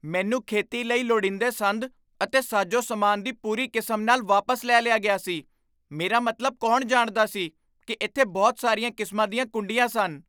ਮੈਨੂੰ ਖੇਤੀ ਲਈ ਲੋੜੀਂਦੇ ਸੰਦ ਅਤੇ ਸਾਜ਼ੋ ਸਾਮਾਨ ਦੀ ਪੂਰੀ ਕਿਸਮ ਨਾਲ ਵਾਪਸ ਲੈ ਲਿਆ ਗਿਆ ਸੀ ਮੇਰਾ ਮਤਲਬ, ਕੌਣ ਜਾਣਦਾ ਸੀ ਕੀ ਇੱਥੇ ਬਹੁਤ ਸਾਰੀਆਂ ਕਿਸਮਾਂ ਦੀਆਂ ਕੁੰਡੀਆਂ ਸਨ?